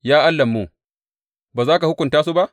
Ya Allahnmu, ba za ka hukunta su ba?